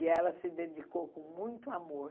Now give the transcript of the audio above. E ela se dedicou com muito amor.